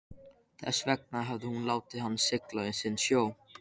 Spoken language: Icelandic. Þess vegna hafði hún látið hann sigla sinn sjó.